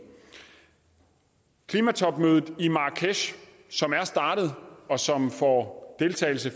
klimatopmødet i marrakesh som er startet og som får deltagelse